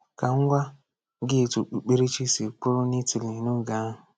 Ka m gwa gị etu okpukperechi si kwụrụ n’Italy n’oge ahụ.